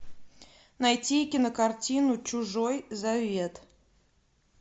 найти кинокартину чужой завет